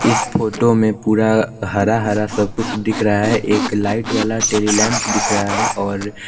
इस फोटो में पूरा हरा हरा सा कुछ दिख रहा है एक लाईट वाला टेडीलेम्प दिख रहा है और--